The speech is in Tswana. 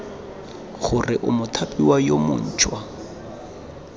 gore o mothapiwa yo montšhwa